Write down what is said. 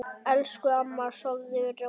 Elsku amma, sofðu rótt.